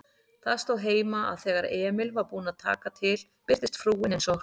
Það stóð heima, að þegar Emil var búinn að taka til birtist frúin eins og